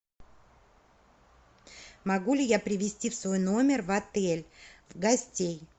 могу ли я привести в свой номер в отель гостей